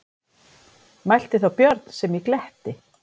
Mælti þá Björn sem í gletti